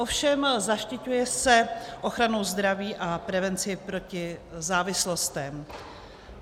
Ovšem zaštiťuje se ochranou zdraví a prevenci proti závislostem.